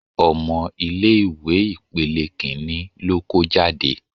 Ọmọ ilé ìwé ipele Kínní ló kó jáde.